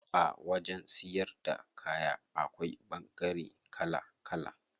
A wajen siyar da kaya akwai ɓangare kala kala.